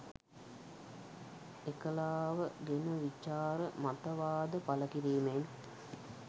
එකලාව ගෙන විචාර මතවාද පළ කිරීමෙන්